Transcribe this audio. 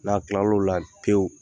N'a kilar'o la pewu.